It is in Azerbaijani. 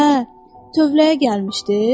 Hə, tövləyə gəlmişdi?